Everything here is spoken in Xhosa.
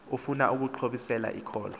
ufuna ukuxhobisela ikholwa